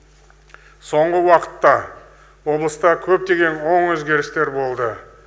соңғы уақытта облыста көптеген оң өзгерістер болды